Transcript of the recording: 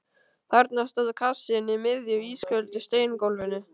Þarna stóð kassinn á miðju ísköldu steingólfinu.